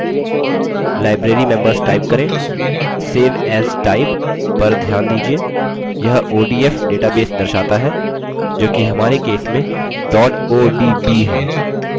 save as type: पर ध्यान दीजिये यह odf database दर्शाता है जोकि हमारे case में odb है